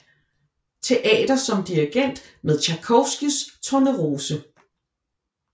Teater som dirigent med Tjajkovskijs Tornerose